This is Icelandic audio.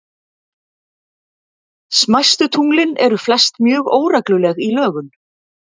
Smæstu tunglin eru flest mjög óregluleg í lögun.